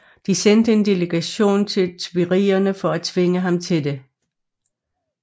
De sendte en delegation til Tuilerierne for at tvinge ham til det